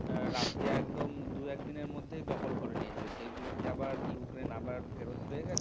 Russia একদম দু একদিনের মধ্যেই দখল করে নিয়েছিল সেগুলো কি আবার ইউক্রেইন্ আবার ফেরত পেয়ে গেছে?